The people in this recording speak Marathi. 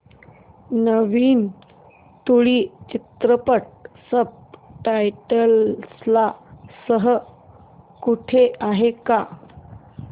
नवीन तुळू चित्रपट सब टायटल्स सह कुठे आहे का